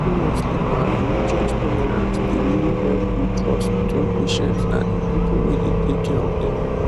seriously bah religious tolerance dey really help build trust between patients and the people wey dey take care of dem